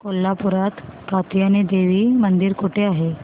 कोल्हापूरात कात्यायनी देवी मंदिर कुठे आहे